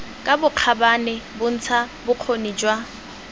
ka bokgabane bontsha bokgoni jwa